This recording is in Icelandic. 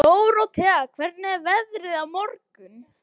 Hinn skoraði eitt og lagði upp tvö.